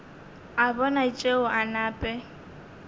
a bona tšeo a nape